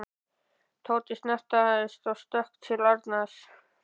Tóti snarstansaði og stökk til Arnar.